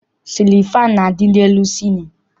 Sịlịn faanụ na-adị n'elu cịlịn.